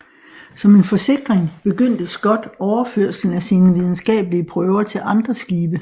Som en forsikring begyndte Scott overførslen af sine videnskabelige prøver til andre skibe